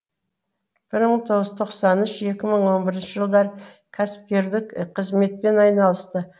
бір мың тоғыз жүз тоқсан үш екі мың он бірінші жылдары кәсіпкерлік қызметпен айналысты